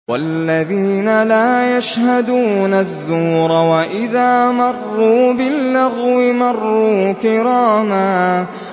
وَالَّذِينَ لَا يَشْهَدُونَ الزُّورَ وَإِذَا مَرُّوا بِاللَّغْوِ مَرُّوا كِرَامًا